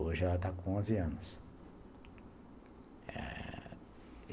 Hoje ela está com onze anos. Eh...